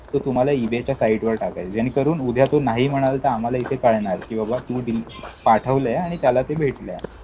तो तुम्हाला ईबेच्या साईटवर टाकायचाय. ज्यानेकरून उद्या तो नाही म्हणाला तर आम्हाला इथे कळणार. कि बाबा तू पाठवलंय आणि त्याला ते भेटलंय.